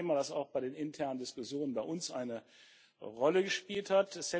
Das ist ein Thema, das auch bei den internen Diskussionen bei uns eine Rolle gespielt hat.